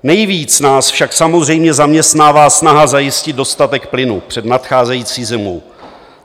Nejvíc nás však samozřejmě zaměstnává snaha zajistit dostatek plynu před nadcházející zimou.